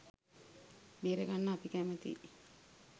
බේරගන්න අපි කැමැතියි.